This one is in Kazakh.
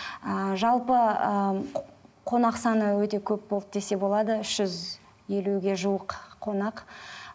ыыы жалпы ыыы қонақ саны өте көп болды десе болады үш жүз елуге жуық қонақ